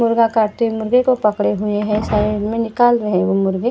मुर्गा काटते मुर्गे को पकड़ हुए है साइड मे निकाल रहे है वो मुर्गे।